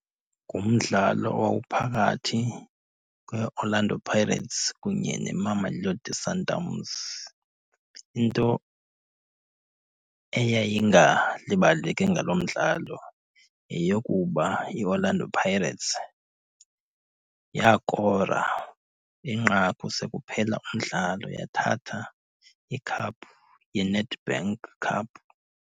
Ngumdlalo owawuphakathi kweOrlando Pirates kunye neMamelodi Sundowns. Into eyayingalibaleki ngaloo mdlalo yeyokuba iOrlando Pirates yaakora inqaku sekuphela umdlalo yathatha ikhaphu yeNedbank Cup.